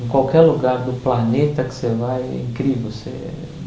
Em qualquer lugar do planeta que você vai, é incrível. Você